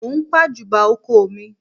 Mò ń pàjùbà oko mi